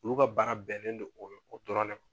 Olu ka baara bɛnnen don o dɔrɔn de ma